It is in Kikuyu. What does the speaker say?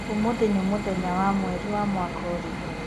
ũmũthĩ ni mũthenya wa mwerĩ na mwaka ũrĩkũ